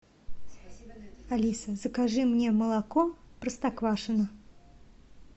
алиса закажи мне молоко простоквашино